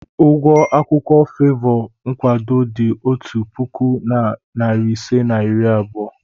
Ụgwọ akwụkwọ favour nkwado dị otu puku na narị ise na iri abụọ.